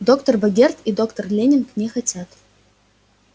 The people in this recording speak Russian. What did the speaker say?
доктор богерт и доктор лэннинг не хотят